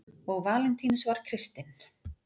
Og Valentínus var kristinn.